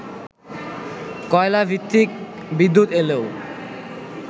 কয়লাভিত্তিক বিদ্যুৎ এলেও